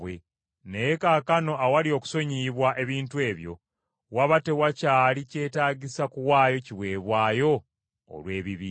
Naye kaakano awali okusonyiyibwa ebintu ebyo, waba tewakyali kyetaagisa kuwaayo kiweebwayo olw’ebibi.